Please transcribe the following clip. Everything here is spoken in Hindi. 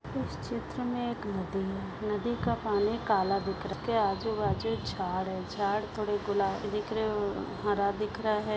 इस चित्र मे एक नदी है। नदी का पानी काला दिख रहा। उस के आजूबाजू झाड है झाड थोड़े गुलाबी दिख रहे और हरा दिख रहा है।